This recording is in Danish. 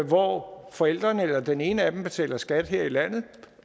hvor forældrene eller den ene af dem betaler skat her i landet